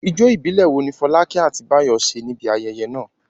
Ijó ìbílẹ̀ wo ni Fọlákẹ́ àti Báyọ̀ ṣe níbi ayẹyẹ náà?